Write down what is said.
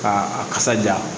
K'a a kasa ja